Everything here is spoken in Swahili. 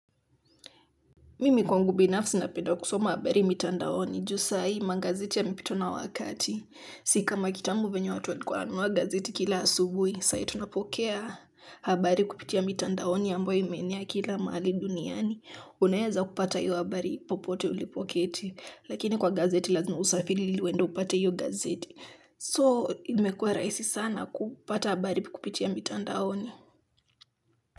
Mimi kwangu binafsi napenda kusoma habari mitandaoni. Ju sai, magazeti yamepitwa na wakati. Si kama kitambo venye watu walikuwa wananunua gazeti kila asubuhi. Sai tunapokea habari kupitia mitandaoni ambayo imeenea kila mahali duniani unaeza kupata hiyo habari popote ulipoketi. Lakini kwa gazeti lazima usafiri ili uende upate hiyo gazeti. So, imekuwa rahisi sana kupata habari kupitia mitandaoni.